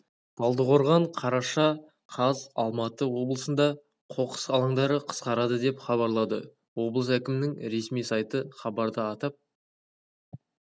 талдықорған қараша қаз алматы облысында қоқыс алаңдары қысқарады деп хабарлады облыс әкімінің ресми сайты хабарда атап